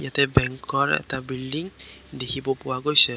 State বেঙ্কৰ এটা building দেখিব পোৱা গৈছে।